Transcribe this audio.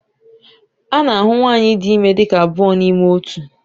A na-ahụ nwanyị dị ime dị ka abụọ n'ime otu.